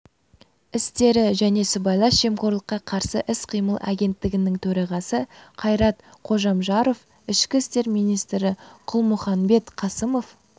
істері және сыбайлас жемқорлыққа қарсы іс-қимыл агенттігінің төрағасы қайрат қожамжаров ішкі істер министрі қалмұханбет қасымов